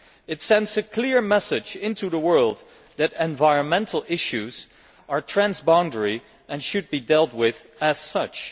It sends a clear message out into the world that environmental issues are trans boundary and should be dealt with as such.